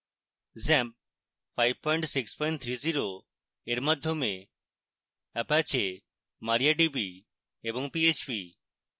xampp 5630 এর মাধ্যমে apache mariadb এবং php